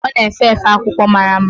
Ọ na-efe efe akwụkwọ mara mma.